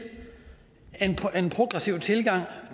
en progressiv tilgang